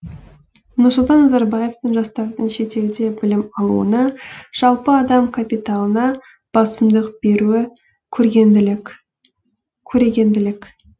нұрсұлтан назарбаевтың жастардың шетелде білім алуына жалпы адам капиталына басымдық беруі көрегенділік